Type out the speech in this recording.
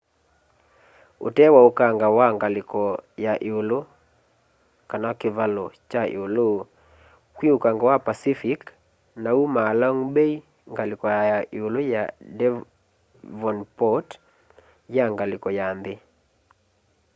utee wa ukanga wa ngaliko ya ĩulu kivalo cha ĩulu kwĩ ukanga wa pacific na umaa long bay ngaliko ya ĩulu ya devonport ya ngaliko ya nthi